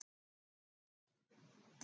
Gísli: Hvað finnst þér skemmtilegast?